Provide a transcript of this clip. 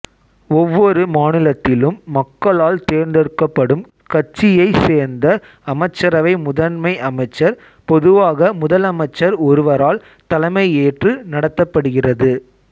ஒவ்வொரு மாநிலத்திலும் மக்களால் தேர்ந்தெடுக்கப்படும் கட்சியைச் சேர்ந்த அமைச்சரவை முதன்மை அமைச்சர் பொதுவாக முதலமைச்சர் ஒருவரால் தலைமையேற்று நடத்தப்படுகிறது